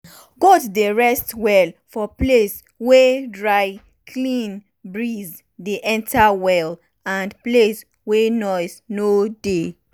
goat dey rest well for place wey drycleanbreeze dey enter well and place wey noise no no dey.